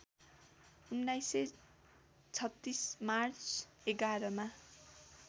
१९३६ March ११ मा